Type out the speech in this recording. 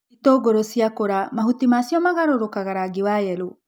Itũngũrũ ciakũra mahuti macio magarũkaga rangi wa yelo.